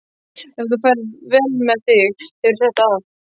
Ef þú ferð vel með þig hefurðu þetta af.